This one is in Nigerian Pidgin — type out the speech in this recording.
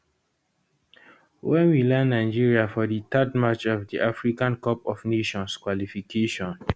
wen we land nigeria for di third match of di africa cup of nations qualification